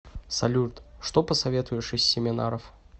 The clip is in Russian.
салют что посоветуешь из семинаров